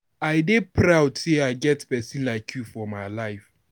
I dey proud sey I get pesin like you for my life.